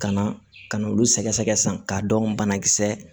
Ka na ka na olu sɛgɛsɛgɛ sisan k'a dɔn banakisɛ